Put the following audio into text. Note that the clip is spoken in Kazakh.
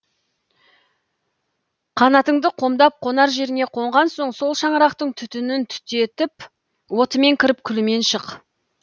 қанатыңды қомдап қонар жеріңе қонған соң сол шаңырақтың түтінін түтетіп отымен кіріп күлімен шық